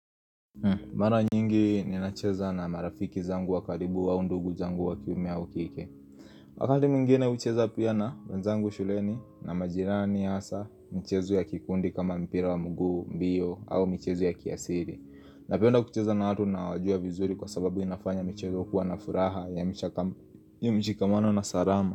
Mara nyingi ninacheza na marafiki zangu wa karibu wa au ndugu zangu wakiume au kike Wakati mwingine hucheza pia na wenzangu shuleni na majirani hasa mchezo ya kikundi kama mpira wa mguu mbio au mchezo ya kiasili Napenda kucheza na watu nawajua vizuri kwa sababu inafanya mchezo kuwa na furaha ya mchikamano na salama.